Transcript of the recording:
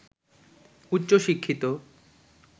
উচ্চ শিক্ষিত